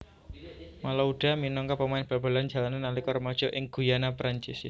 Malouda minangka pemain bal balan jalanan nalika remaja ing Guyana Perancis